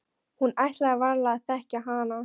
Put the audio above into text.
Hún ætlaði varla að þekkja hana.